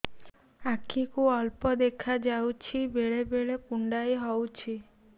ଆଖି କୁ ଅଳ୍ପ ଦେଖା ଯାଉଛି ବେଳେ ବେଳେ କୁଣ୍ଡାଇ ହଉଛି